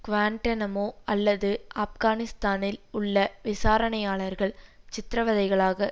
Guantanamo அல்லது ஆப்கானிஸ்தானில் உள்ள விசாரணையாளர்கள் சித்திரவதைகளாக